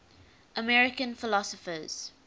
american philosophers